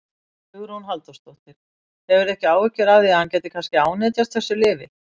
Hugrún Halldórsdóttir: Hefurðu ekki áhyggjur af því að hann gæti kannski ánetjast þessu lyfi?